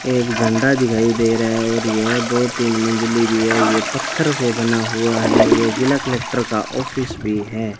एक झंडा दिखाई दे रहा है और यह दो तीन मंजिले भी है ये पत्थर से बना हुआ है ये जिला कलेक्टर का ऑफिस भी है।